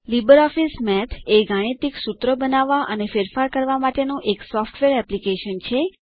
LibreOffice Math એ ગાણિતિક સુત્રો બનાવવા અને ફેરફાર કરવા માટેનું એક સોફ્ટવેર એપ્લિકેશન છે